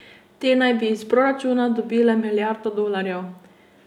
Te naj bi iz proračuna dobile milijardo dolarjev.